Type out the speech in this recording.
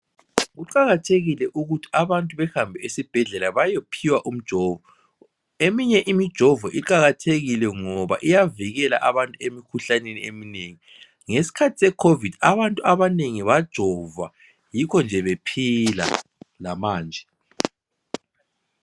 kuqakathekile ukuthi abantu bahambe esibhedlela bayophiwa umjovo eminye imijovo iqakathekile ngoba iyavikela abantu emikhuhlaneni eminengi ngesikhathi secovid abantu abanengi bajovwa yikho nje bephila lamanje